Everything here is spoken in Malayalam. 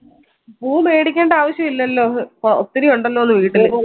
പൂ മേടിക്കണ്ട ആവശ്യോ ല്ലല്ലോ ഓ ഒത്തിരി ഇണ്ടല്ലോന്ന് വീട്ടില്